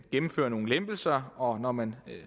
gennemføre nogle lempelser og når man